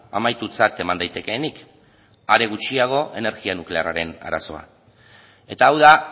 amaitutzat eman daitekeenik are gutxiago energia nuklearraren arazoa eta hau da